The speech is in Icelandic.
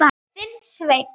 Þinn Sveinn.